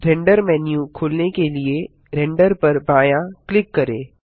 render menu खोलने के लिए रेंडर पर बायाँ क्लिक करें